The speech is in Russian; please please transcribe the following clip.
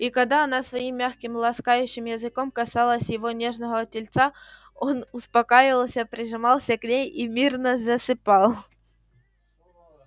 и когда она своим мягким ласкающим языком касалась его нежного тельца он успокаивался прижимался к ней и мирно засыпал